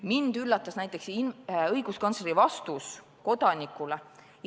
Mind üllatas näiteks õiguskantsleri vastus kodanikule.